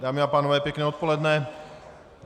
Dámy a pánové, pěkné odpoledne.